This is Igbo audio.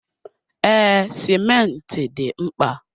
Ee, simenti dị mkpa.